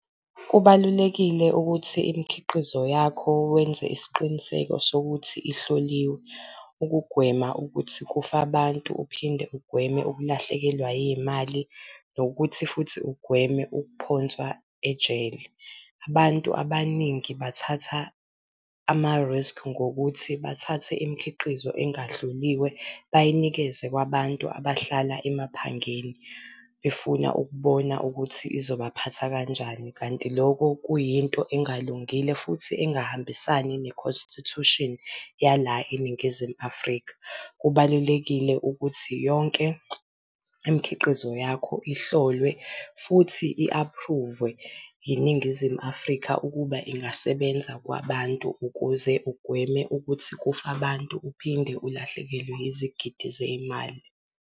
Kubalulekile ukuthi imikhiqizo yakho wenze isiqiniseko sokuthi ihloliwe, ukugwema ukuthi kufe abantu, uphinde ugweme ukulahlekelwa yimali nokuthi futhi ugweme ukuphonswa ejele. Abantu abaningi bathatha ama-risk ngokuthi bathathe imikhiqizo engahloliwe bayinikeze kwabantu abahlala emaphangeni, befuna ukubona ukuthi izobaphatha kanjani. Kanti lokho kuyinto engalungile futhi engahambisani nekhonstithushini yala eNingizimu Afrika. Kubalulekile ukuthi yonke imikhiqizo yakho ihlolwe futhi i-aphruvwe iNingizimu Afrika ukuba ingasebenza kwabantu ukuze ugweme ukuthi kufe abantu, uphinde ulahlekelwe izigidi zey'mali.